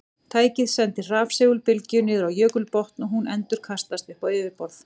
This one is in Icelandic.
Tækið sendir rafsegulbylgju niður á jökulbotn og hún endurkastast upp á yfirborð.